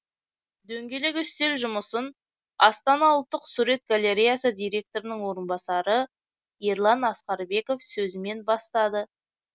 дөңгелек үстел жұмысын астана ұлттық сурет галереясы директорының орынбасары ерлан асқарбеков сөзімен бастады